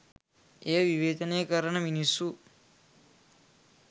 එය විවේචනය කරන මිනිස්සු